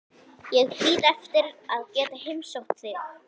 Ég bíð eftir að geta heimsótt þig.